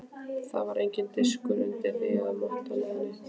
Það var enginn diskur undir því eða motta eða neitt.